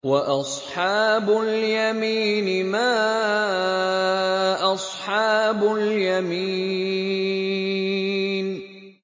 وَأَصْحَابُ الْيَمِينِ مَا أَصْحَابُ الْيَمِينِ